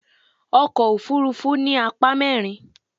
Ọkọ̀ òfuurufú ní apá mẹ́rin.